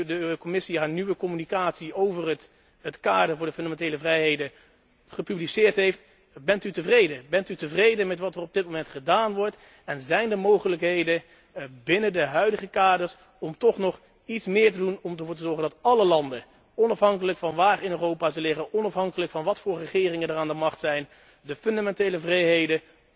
de Commissie haar nieuwe mededeling over het kader voor de fundamentele vrijheden gepubliceerd heeft, bent u tevreden met wat er op dit moment gedaan wordt en zijn er mogelijkheden binnen de huidige kaders om toch nog iets meer te doen om ervoor te zorgen dat alle landen, onafhankelijk van waar ze in Europa liggen, onafhankelijk van wat voor regeringen er aan de macht zijn, de fundamentele vrijheden